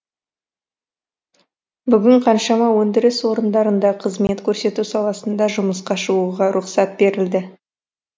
бүгін қаншама өндіріс орындарында қызмет көрсету саласында жұмысқа шығуға рұқсат берілді